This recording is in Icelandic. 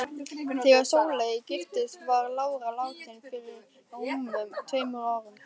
Þegar Sóley giftist var lára látin fyrir rúmum tveimur árum.